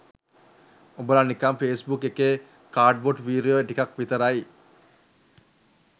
උබල නිකන් ෆේස්බුක් එකේ කාඩ්බෝඩ් වීරයෝ ටිකක් විතරයි